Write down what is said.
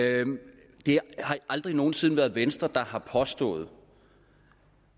det har aldrig nogen sinde været venstre der har påstået